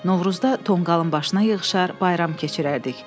Novruzda tonqalın başına yığışar, bayram keçirərdik.